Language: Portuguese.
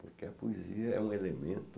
Porque a poesia é um elemento,